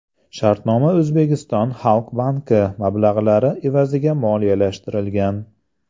Shartnoma O‘zbekiston Xalq Banki mablag‘lari evaziga moliyalashtirilgan.